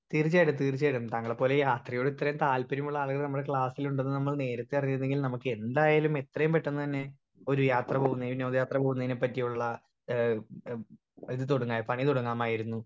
speaker 1 തീർച്ചായിട്ടും തീർച്ചായിട്ടും താങ്കളെ പോലെ യാത്രയോടെ ഇത്രേം താല്പര്യമുള്ള ആളുകൾ നമ്മളെ ക്ലാസ്സിലിണ്ടന്ന് നമ്മൾ നേരത്തെ അറിഞ്ഞിരുന്നെകിൽ നമ്മുക്കെന്തായാലും എത്രേം പെട്ടന്ന് തന്നെ ഒരു യാത്ര പോവുന്നെനും ഒരു യാത്ര പോവുന്നെനെ പറ്റിയുള്ള ഏഹ് ഒരു തൊടങ്ങാ പണി തൊടങ്ങാമായിരുന്നു